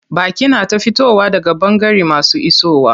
Baƙi na ta fitowa daga ɓangare masu isowa.